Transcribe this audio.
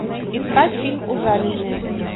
искать фильм ужаленные